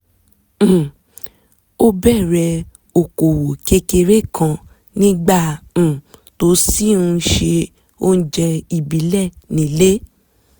um ó bẹ̀rẹ̀ okòwò kékeré kan nígbà um tó ṣì ń se oúnjẹ ìbílẹ̀ nílé